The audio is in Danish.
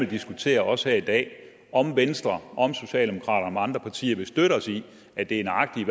diskutere også her i dag om venstre om socialdemokraterne om andre partier vil støtte os i at det er nøjagtig